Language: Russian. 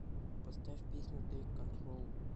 поставь песню тэйк контрол